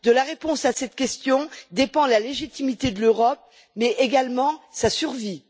De la réponse à cette question dépend la légitimité de l'Europe mais également sa survie.